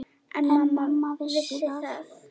En mamma vissi það.